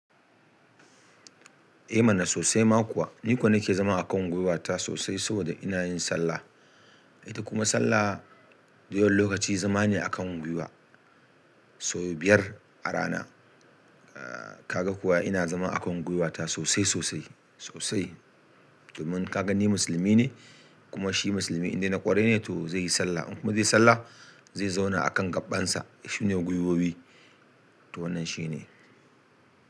Eh mana sosai ma kuwa. Ni ko nake zama a kan gwiwata sosai saboda ina yin sallah. Ita kuma sallah dayawan lokaci zama ne a kan gwiwa. Sau biyar a rana. Ka ga kuwa ina zama a kan gwiwata sosai sosai sosai. Domin ka gani musulmi ne kuma shi musulmi inda ya kware ne to zai yi sallah. In kuma zai yi sallah zai zauna a kan gaɓan sa. Shi ne gwiwowi. To wannan shi ne.